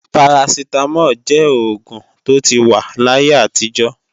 Parasitamol jẹ́ oògùn tó ti wà láti ayé àtijó